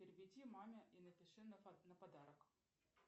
переведи маме и напиши на подарок